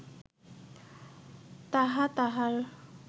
তাহা তাঁহার